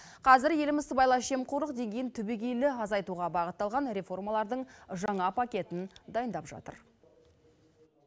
қазір еліміз сыбайлас жемқорлық деңгейін түбегейлі азайтуға бағытталған реформалардың жаңа пакетін дайындап жатыр